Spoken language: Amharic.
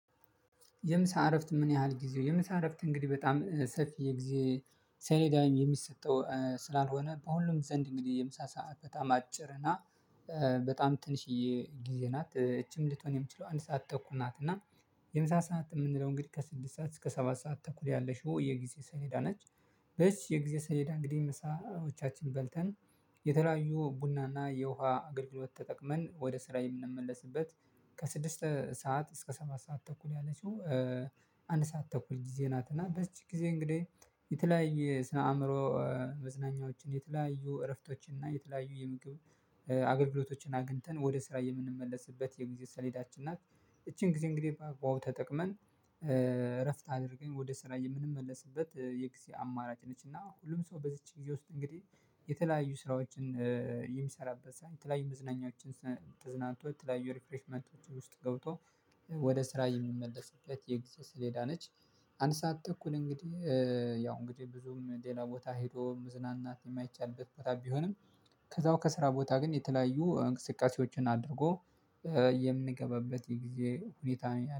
የምሳ እረፍት ምን ያህል ጊዜው? የምሳ እረፍት እንግዲህ በጣም ሰፊ የጊዜ ሰሌዳዬም የሚሰጠው ስላልሆነ በሁሉም ዘንድ እንግዲህ የምሳ ሰዓት በጣም አጭር እና በጣም ትንሽዬ ጊዜ ናት። እቺም ልትሆን የምትችለው አንድ ሰዓት ተኩል ናት እና የምሳ ሰዓት የምንለው እንግዲህ ከስድስት ሰዓት እስከ ሰባት ሰዓት ተኩል ያለቺው የጊዜ ሰሌዳ ነች በዚች የጊዜ ሰሌዳ እንግዲህ ምሳዎቻችን በልተን የተለያዩ ቡናና የውሃ አገልግሎት ተጠቅመን ወደ ስራ የምንመለስበት ከስድስት ሰዓት እስከ ሰባት ሰዓት ተኩል ያለችው አንድ ሰዓት ተኩል ጊዜ ናት እና በዚች ጊዜ እንግዲህ የተለያየ ስነ አእምሮ መዝናኛዎችን የተለያዩ እረፍቶችን እና የተለያዩ የምግብ አገልግሎቶችን አግኝተን ወደ ስራ የምንመለስበት የጊዜ ሰሌዳችን ናት። ይቺን ጊዜ እንግዲህ በአግባቡ ተጠቅመን፣ እረፍት አድርገን ወደ ስራዬ የምንመለስበት የጊዜ አማራጭ ነች እና ሁሉም ሰው በዚች ጊዜ ውስጥ እንግዲህ የተለያዩ ስራዎችን የሚሰራበት፣ ሳይንት ላይ መዝናኞችን ተዝናንቶ የተለያዩ ሪክሬሽንመንቶች ውስጥ ገብቶ ወደ ስራ የሚመለስበት የጊዜ ስሌዳ ነች። አንድ ሰዓት እኩል እንግዲህ ያው እንግዲህ ብዙም ሌላ ቦታ ሄዶ ምዝናናት የማይቻልበት ቦታ ቢሆንም ከዛው ከስራ ቦታ ግን የተለያዩ እንቅስቃሴዎችን አድርጎ የምንገባበት ይሄ ጊዜ ሁኔታ